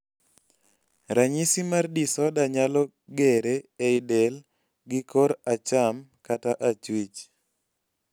ranyisi mar disorder nyalo gere ei del gi kor acham kata achuich